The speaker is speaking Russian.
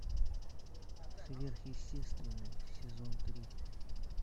сверхъестественное сезон три